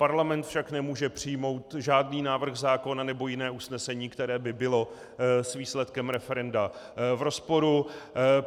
Parlament však nemůže přijmout žádný návrh zákona nebo jiné usnesení, které by bylo s výsledkem referenda v rozporu.